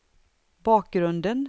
bakgrunden